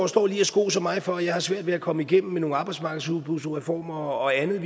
står lige og skoser mig for at jeg har svært ved at komme igennem med nogle arbejdsmarkedsudbudsreformer og andet